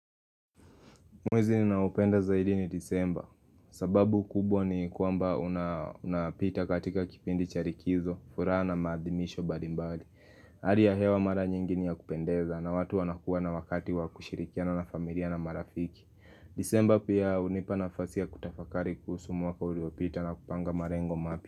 Mwezi ninaoupenda zaidi ni disemba sababu kubwa ni kwamba unapita katika kipindi cha rikizo furaha na maadhimisho mbalimbali ari ya hewa mara nyingi ni ya kupendeza na watu wanakuwa na wakati wa kushirikiana na familia na marafiki Disemba pia hunipa nafasi ya kutafakari kuhusu mwaka uliopita na kupanga marengo mapya.